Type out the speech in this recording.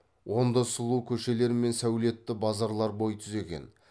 онда сұлу көшелер мен сәулетті базарлар бой түзеген